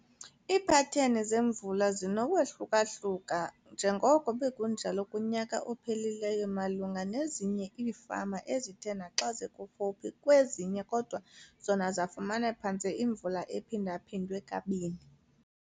Iipateni zemvula zinokwahluka-hluka njengoko bekunjalo kunyaka ophelileyo malunga nezinye iifama ezithe naxa zikufuphi kwezinye kodwa zona zafumana phantse imvula ephinda-phindwe kabini.